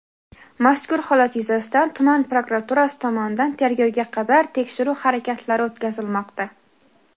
Mazkur holat yuzasidan tuman prokuraturasi tomonidan tergovga qadar tekshiruv harakatlari o‘tkazilmoqda.